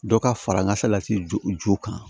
Dɔ ka fara ŋa fɛ lase jo jo kan